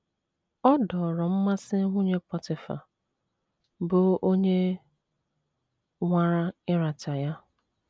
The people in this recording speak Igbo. Ọ dọọrọ mmasị nwunye Pọtịfa, bụ́ onye nwara ịrata ya.